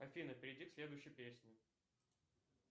афина перейди к следующей песне